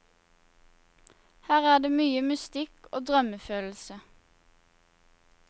Her er det mye mystikk og drømmefølelse.